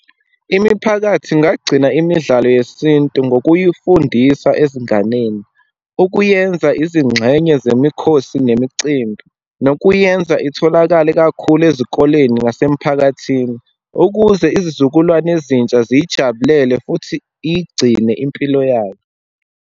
Imiphakathi ingagcina imidlalo yesintu ngokuyifundisa ezinganeni, ukuyenza izingxenye zemikhosi nemicimbi, nokuyenza itholakale kakhulu ezikoleni nasemphakathini, ukuze izizukulwane ezintsha ziyijabulele futhi iyigcine impilo yabo.